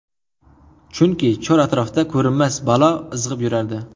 Chunki chor-atrofda ko‘rinmas balo izg‘ib yurardi.